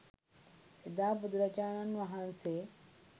එදා බුදුරජාණන් වහන්සේ